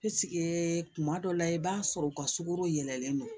kuma dɔ la i b'a sɔrɔ u ka sukaro yɛlɛlen don